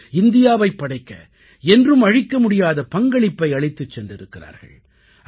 அவர்கள் இந்தியாவைப் படைக்க என்றும் அழிக்க முடியாத பங்களிப்பை அளித்துச் சென்றிருக்கிறார்கள்